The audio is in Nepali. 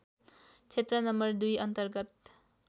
क्षेत्र नं २ अन्तर्गत